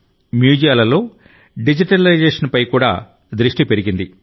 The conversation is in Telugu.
మ్యూజియాలలో డిజిటలైజేషన్పై కూడా దృష్టి పెరిగింది